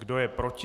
Kdo je proti?